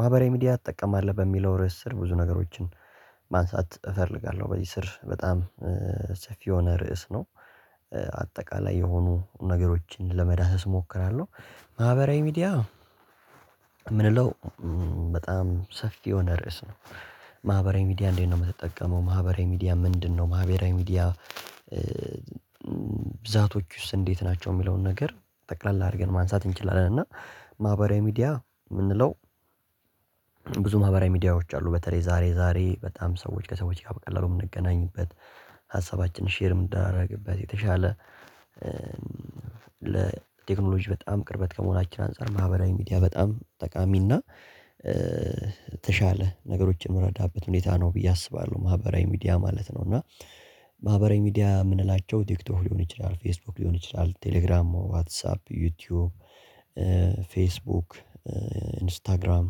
ማህበራዊ ሚዲያ እጠቀማለሁ በሚለው ርዕስ ስር ብዙ ነገሮችን ማንሳት እፈልጋለሁ በዚህ ስር በጣም ሰፊ የሆነ ርዕስ ነው። አጠቃላይ የሆኑ ነገሮችን ለመዳሰስ እሞክራለሁ። ማህበራዊ ሚዲያ የምንለው በጣም ሰፊ የሆነ ርዕስ ነው። ማህበራዊ ሚዲያ እንዴት ነው የምትጠቀመው? ማህበራዊ ሚዲያ ምንድነው ማህበራዊ ሚዲያ? ብዛቶቹስ እንዴት ናቸው? የሚለውን ነገር ጠቅላላ አድርገን ማንሳት እንችላለን። እና ማህበራዊ ሚዲያ የምንለው ብዙ ማህበራዊ ሚዲያዎች አሉ። በተለይ ዛሬ ዛሬ በጣም ሰዎች ከሰዎች ጋር በቀላሉ የምንገናኝበት ሼር የምንዳደረግበት የተሻለ በጣም ቅርበት ከመሆናችን አንፃር ማህበራዊ ሚዲያ በጣም ጠቃሚና የተሻለ ነገሮችን የምረዳበት ሁኔታ ው ብዬ አስባለሁ። ማህበራዊ ሚዲያ ማለት ነው። እና ማህበራዊ ሚዲያ የምንላቸው ቲክቶክ ሊሆን ይችላል ፌስቡክ ሊሆን ይችላል ቴሌግራም ዋትሳፕ ዩቲዩብ። ፌስቡክ ኢንስታግራም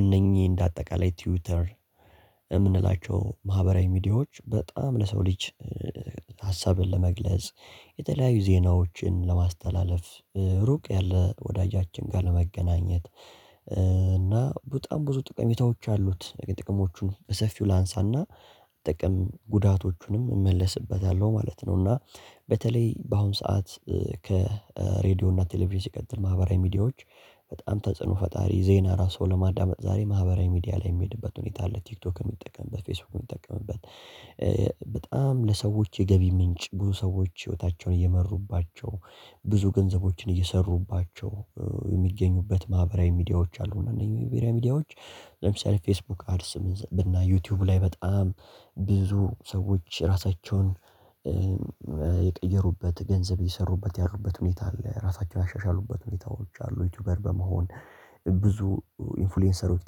እነኚህ እንደ አጠቃላይ ትዊተር የምንላቸው ማህበራዊ ሚዲያዎች በጣም ለሰው ልጅ ሀሳብን ለመግለጽ የተለያዩ ዜናዎችን ለማስተላለፍ ሩቅ ያለ ወዳጃችን ጋር ለመገናኘት እና በጣም ብዙ ጥቅሞች አሉት። ጥቅሞቹን በሰፊው ላንሳና ጥቅም ጉዳቶቹንም እመለስበታለሁ ማለት ነው። እና በተለይ በአሁን ሰዓት ከሬድዮ እና ቴሌቪዥን ሲቀጥል ማህበራዊ ሚዲያዎች በጣም ተጽዕኖ ፈጣሪ ዜና ራሱ ለማዳመጥ ዛሬ ማህበራዊ ሚዲያ ላይ የሚሄድበት ሁኔታ ለቲክቶክ የሚጠቀምበት ፌስቡክ የሚጠቀምበት በጣም ለሰዎች የገቢ ምንጭ ብዙ ሰዎች ህይወታቸውን እየመሩባቸው ብዙ ገንዘቦችን እየሰሩባቸው የሚገኙበት ማህበራዊ ሚዲያዎች አሉ። እነዚህ መግቢያ ሚዲያዎች ለምሳሌ ፌስቡክ አድስ ብናይ ዩቲዩብ ላይ በጣም ብዙ ሰዎች ራሳቸውን የቀየሩበት ገንዘብ የሰሩበት ያሉበት ሁኔታ አለ። ራሳቸውን ያሻሻሉበት ሁኔታዎች አሉ። ዩቲዩበር በመሆን ብዙ ኢንፍሉዌንሰሮች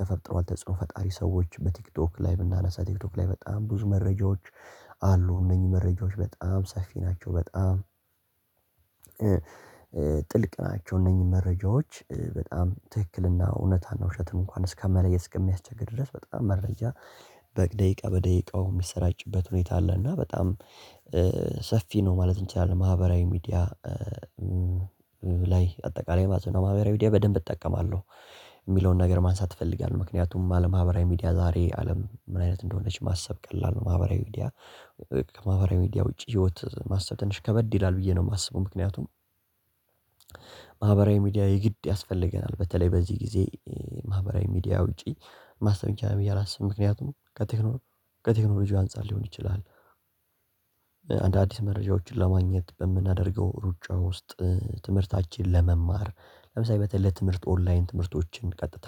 ተፈጥሯል። ተጽዕኖ ፈጣሪ ሰዎች በቲክቶክ ላይ ብናነሳ ቲክቶክ ላይ በጣም ብዙ መረጃዎች አሉ እነኚህ መረጃዎች በጣም ሰፊ ናቸው በጣም ጥልቅ ናቸው። እነዚህ መረጃዎች በጣም ትክክልና እውነት ነው ውሸትን እንኳን እስከመለየት እስከሚያስቸግር ድረስ በጣም መረጃ በደቂቃ በደቂቃው የሚሰራጭበት ሁኔታ አለ። እና በጣም ሰፊ ነው ማለት እንችላለን። ማህበራዊ ሚዲያ ላይ አጠቃላይ ማለት ነው ማህበራዊ ሚዲያ በደንብ እጠቀማለሁ። የሚለውን ነገር ማንሳት እፈልጋለሁ ምክንያቱም አለማህበራዊ ሚዲያ ዛሬ አለም ምን አይነት እንደሆነች ማሰብ ቀላል ነው ማህበራዊ ሚዲያ ከማህበራዊ ሚዲያ ውጪ ህይወት ማሰብ ትንሽ ከበድ ይላል ብዬ ነው። የማስበው ምክንያቱም ማህበራዊ ሚዲያ የግድ ያስፈልገናል በተለይ በዚህ ጊዜ ማህበራዊ ሚዲያ ውጪ ማሰብ ይቻላል። ብየ አላስብም ምክንያቱም ከቴክኖ ከቴክኖሎጅው አንፃር ሊሆን ይችላል። መረጃዎችን ለማግኘት በምናደርገው ሩጫ ውስጥ ትምህርታችንን ለመማር ለምሳሌ በተለይ ትምህርት ኦንላይን ትምህርቶችን ቀጥታ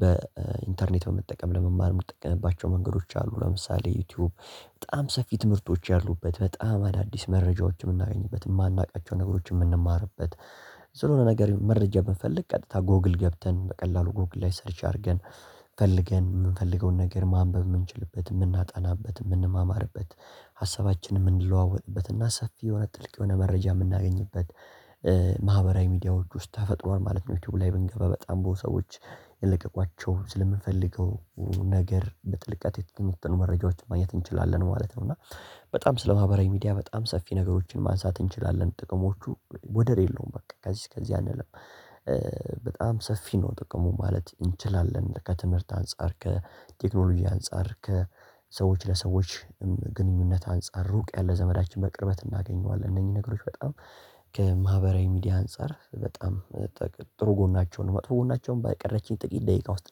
በኢንተርኔት በመጠቀም ለመማር የምጠቀምባቸው መንገዶች አሉ። ለምሳሌ ዩቲዩብ በጣም ሰፊ ትምህርቶች ያሉበት በጣም አዳዲስ መረጃዎችን የምናገኝበት የማናውቃቸው ነገሮችን የምንማርበት ዝርዝር የሆነ ነገር መረጃ ብንፈልግ ቀጥታ ጎግል ገብተን በቀላሉ ጎግል ላይ ሰርች አድርገን ፈልገን የምንፈልገውን ነገር ማንበብ የምንችልበት የምናጣናበት የምንማማርበት ሀሳባችን የምንለዋወጥበት እና ሰፊ የሆነ ጥልቅ የሆነ መረጃ የምናገኝበት። ማህበራዊ ሚዲያ ውስጥ ተፈጥሮን ማለት ነው ዩቲዩብ ላይ ብንገባ በጣም ብዙ ሰዎች የለቀቋቸውን ስለምንፈልገው ነገር በጥልቀት የተገኘውን መረጃዎች ማየት እንችላለን ማለት ነው። እና በጣም ስለማህበራዊ ሚዲያ በጣም ሰፊ ነገሮችን ማንሳት እንችላለን ጥቅሞቹ ወደር የለውም በቃ ከዚህ እስከዚህ አንልም። በጣም ሰፊ ነው ጥቅሙ ማለት እንችላለን። ከትምህርት አንፃር ከቴክኖሎጂ አንፃር ከሰዎች ለሰዎች ግንኙነት አንፃር ሩቅ ያለ ዘመዳችን በቅርበት እናገኘዋለን። እነዚህ ነገሮች በጣም ከማህበራዊ ሚዲያ አንፃር በጣም ጥሩ ጎናቸውን መጥፎ ጎናቸውን በቀረችኝ ጥቂት ደቂቃ ውስጥ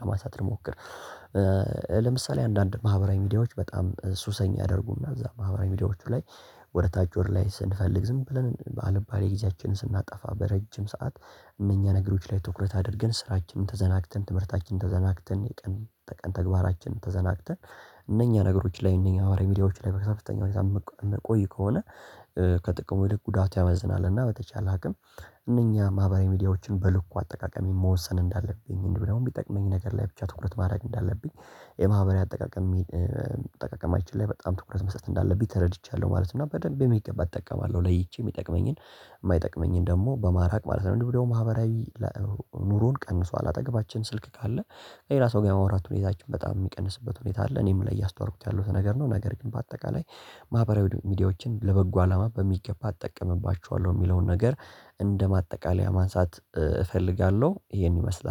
ለማሳጠር ልሞክር። ለምሳሌ አንዳንድ ማህበራዊ ሚዲያዎች በጣም ሱሰኛ ያደርጉና እዛ ማህበራዊ ሚዲያዎቹ ላይ ወደ ታች ወደ ላይ ስንፈልግ ዝም ብለን በአልባሌ ጊዜያችንን ስናጠፋ በረጅም ሰዓት እነኛ ነገሮች ላይ ትኩረት አድርገን ስራችንን ተዘናግተን ትምህርታችንን ተዘናግተን የቀን ተግባራችንን ተዘናግተን እነኛ ነገሮች ላይ እነኛ ማኅራዊ ሚዲያዎች ላይ በተከታታይ ሁኔታ እንቆይ ከሆነ። ከጥቅሙ ይልቅ ጉዳት ያመዝናልና በተቻለ ሀገር እነኛ ማህበራዊ ሚዲያዎችን በልኩ እንዲሁም ሚጠቅመኝ ነገር ላይ ብቻ ትኩረት ማድረግ እንዳለብኝ የማህበራዊ አጠቃቀም አጠቃቀማችን ላይ በጣም ትኩረት መስጠት እንዳለብኝ ተረድቻለሁ ማለት ነው። እና በደንብ በሚገባ እጠቀማለሁ ለይቼ የሚጠቅመኝን የማይጠቅመኝን ደግሞ በማራቅ ማለት ነው። ወይ ደግሞ ማህበራዊ ኑሮን ቀንሶ አጠገባችን ስልክ ካለ ሌላ ሰው ጋር የማውራት ሁኔታችን በጣም የሚቀንስበት ሁኔታ አለ እኔም ላይ እያስተዋልኩት ያለሁት ነገር ነው። ነገር ግን በአጠቃላይ ማህበራዊ ሚዲያዎችን ለበጎ አላማ በሚገባ እጠቀምባቸዋለሁ የሚለውን ነገር እንደ ማጠቃለያ ማንሳት እፈልጋለሁ። ይሄን ይመስላል